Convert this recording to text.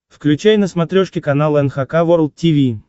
включай на смотрешке канал эн эйч кей волд ти ви